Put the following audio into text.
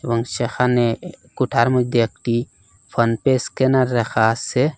সেখানে কোঠার মধ্যে একটি ফোনপে স্ক্যানার রাখা আছে।